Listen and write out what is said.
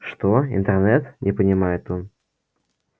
что интернет не понимает он